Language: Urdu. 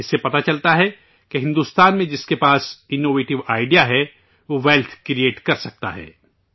اس سے پتہ چلتا ہے کہ بھارت میں جس کے پاس انوویشن آئڈیا ہے وہ، ویلتھ کریٹ کرسکتا ہے